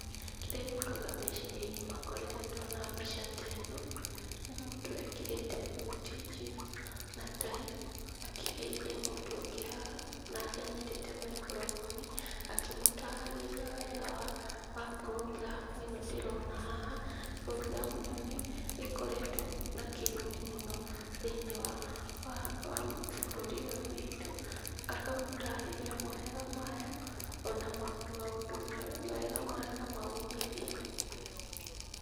Kĩrĩa gĩũkaga meciria-inĩ makwa rĩrĩa ndona mbica teno, nĩ mũndũ ekĩrĩte thuti njirũ na tai, akĩgeithia mũndũ ũngĩ haha, nake anyitĩte microphone akĩmũtaragĩria wega wa wa purongramu ĩno ndĩrona haha. Purongramu ĩno nĩ ikoretwo na kĩguni mũno thĩinĩ wa wa wa bũrũri ũyũ witũ, akamũtarĩria mawega mayo, ona maũndũ mega mayo na maumithio.